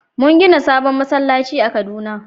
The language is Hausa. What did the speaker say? Mun gina sabon masallaci a kaduna